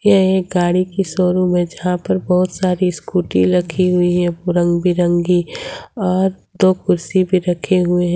यह एक गाड़ी की शोरूम में जहां पर बहुत सारी स्कूटी रखी हुई है रंग बिरंगी और दो कुर्सी भी रखे हुए हैं।